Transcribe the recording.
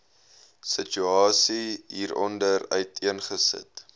situasie hieronder uiteengesit